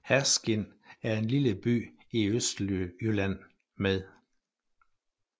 Herskind er en lille by i Østjylland med